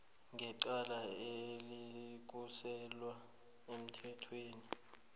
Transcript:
ngecala elisuselwa emthethweni